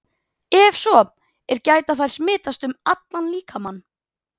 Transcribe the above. Ef svo er, geta þær smitast um allan líkamann?